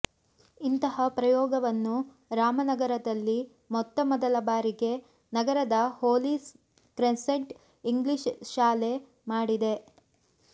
ಇಂತಹ ಪ್ರಯೋಗವನ್ನು ರಾಮನಗರದಲ್ಲಿ ಮೊತ್ತ ಮೊದಲ ಬಾರಿಗೆ ನಗರದ ಹೋಲಿ ಕ್ರೆಸೆಂಟ್ ಇಂಗ್ಲಿಷ್ ಶಾಲೆ ಮಾಡಿದೆ